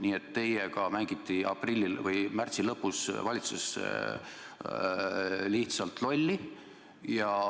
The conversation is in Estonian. Nii et teiega mängiti märtsi lõpus valitsuses lihtsalt lolli.